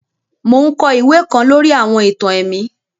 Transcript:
Mo n kọ iwe kan lori àwọn ìtàn ẹ̀mí